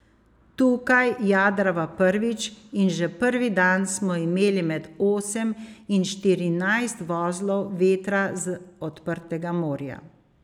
Tukaj jadrava prvič in že prvi dan smo imeli med osem in štirinajst vozlov vetra z odprtega morja.